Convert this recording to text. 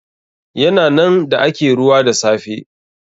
Ya na nan da ake ruwa da safe.